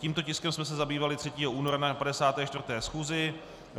Tímto tiskem jsme se zabývali 3. února na 54. schůzi.